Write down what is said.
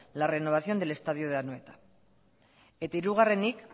la renovación del estadio de anoeta eta hirugarrenik